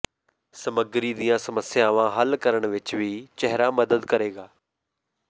ਸਮਗਰੀ ਦੀਆਂ ਸਮੱਸਿਆਵਾਂ ਹੱਲ ਕਰਨ ਵਿਚ ਵੀ ਚਿਹਰਾ ਮਦਦ ਕਰੇਗਾ